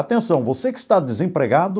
Atenção, você que está desempregado,